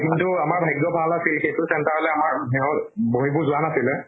কিন্তু আমাৰ ভাগ্য় ভাল আছিল, সেইটো center লৈ আমাৰ সেহৰ বহিবোৰ যোৱা নাছিলে।